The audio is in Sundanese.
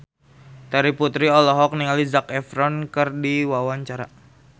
Terry Putri olohok ningali Zac Efron keur diwawancara